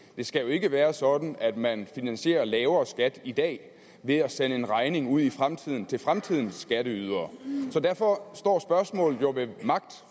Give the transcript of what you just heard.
det skal jo ikke være sådan at man finansierer lavere skatter i dag ved at sende en regning ud i fremtiden til fremtidens skatteydere så derfor står spørgsmålet jo ved magt